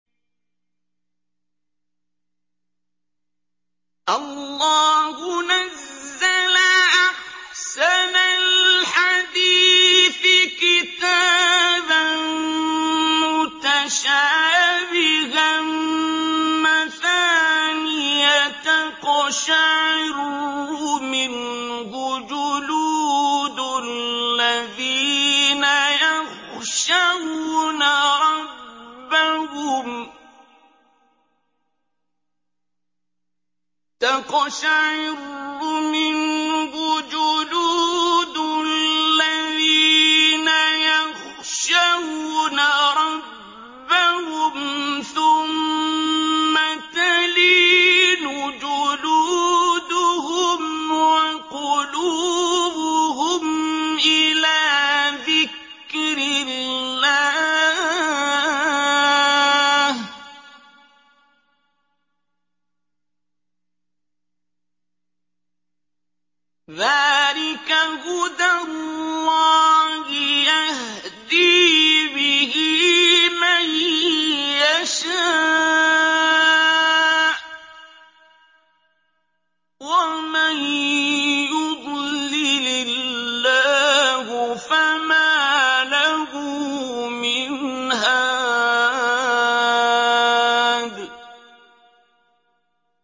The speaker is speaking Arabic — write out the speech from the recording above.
اللَّهُ نَزَّلَ أَحْسَنَ الْحَدِيثِ كِتَابًا مُّتَشَابِهًا مَّثَانِيَ تَقْشَعِرُّ مِنْهُ جُلُودُ الَّذِينَ يَخْشَوْنَ رَبَّهُمْ ثُمَّ تَلِينُ جُلُودُهُمْ وَقُلُوبُهُمْ إِلَىٰ ذِكْرِ اللَّهِ ۚ ذَٰلِكَ هُدَى اللَّهِ يَهْدِي بِهِ مَن يَشَاءُ ۚ وَمَن يُضْلِلِ اللَّهُ فَمَا لَهُ مِنْ هَادٍ